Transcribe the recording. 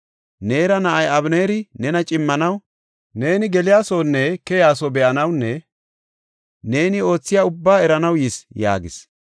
Neera na7ay Abeneeri nena cimmanaw, neeni geliyasonne keyaso be7anawunne neeni oothiya ubbaa eranaw yis” yaagis.